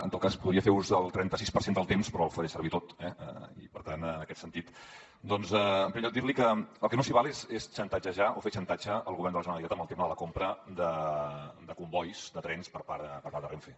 en tot cas podria fer ús del trenta sis per cent del temps però el faré servir tot eh i per tant en aquest sentit doncs en primer lloc dir li que el que no s’hi val és xantatgejar o fer xantatge al govern de la generalitat amb el tema de la compra de combois de trens per part de renfe